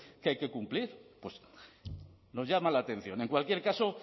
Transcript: que hay que cumplir pues nos llama la atención en cualquier caso